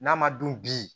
N'a ma dun bi